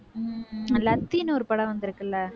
உம் லத்தின்னு ஒரு படம் வந்திருக்கு இல்லை?